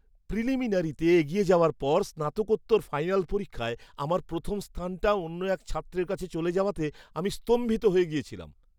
প্রিলিমিনারিতে এগিয়ে যাওয়ার পর স্নাতকোত্তরের ফাইনাল পরীক্ষায় আমার প্রথম স্থানটা অন্য এক ছাত্রের কাছে চলে যাওয়াতে আমি স্তম্ভিত হয়ে গেছিলাম।